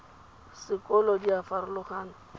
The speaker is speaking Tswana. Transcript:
sekolo di a farologana go